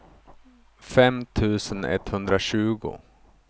fem tusen etthundratjugo